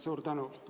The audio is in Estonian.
Suur tänu!